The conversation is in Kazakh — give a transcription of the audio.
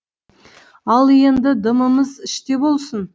ал енді дымымыз іште болсын